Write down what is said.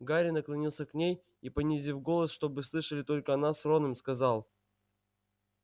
гарри наклонился к ней и понизив голос чтобы слышали только она с роном сказал